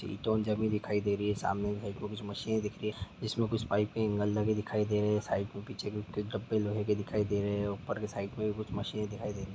ईंट भी दिखाई दे रही है सामने की साईड में कुछ मशीन दिख रही हैं जिसमे कुछ बाईक के एंगल दिखाई दे रहे है साईड कुछ डब्बे लोहे की दिखाई दे रहे है ऊपर के साईड में कुछ मशीन दिखाई दे रही है ।